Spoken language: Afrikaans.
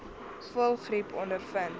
voëlgriep ondervind